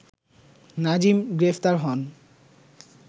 নাজিম গ্রেপ্তার হন